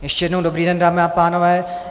Ještě jednou dobrý den, dámy a pánové.